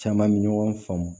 Caman bɛ ɲɔgɔn faamu